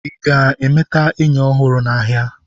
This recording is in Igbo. ị ga-emeta enyi ọhụrụ n'ahịa?